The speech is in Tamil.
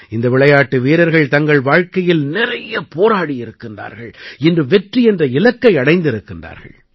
இந்த விளையாட்டு வீரர்கள் தங்கள் வாழ்க்கையில் நிறைய போராடியிருக்கிறார்கள் இன்று வெற்றி என்ற இலக்கை அடைந்திருக்கிறார்கள்